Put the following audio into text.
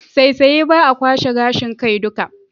Saisaye ba a kwashe gashin kai duka.